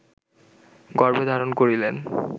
গর্ভে ধারণ করিলেন